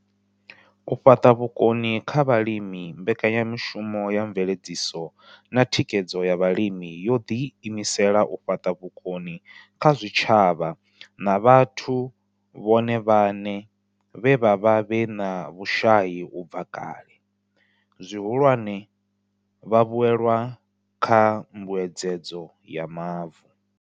U fhaṱa vhukoni kha vhalimi Mbekanya mushumo ya Mveledziso na Thikhedzo ya Vhalimi yo ḓiimisela u fhaṱa vhukoni kha zwitshavha na vhathu vhone vhaṋe vhe vha vha vhe na vhushai u bva kale, zwihulwane, vhavhuelwa kha Mbuedzedzo ya Mavu.